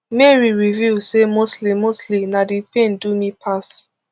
mary reveal say mostly mostly na di pain do me pass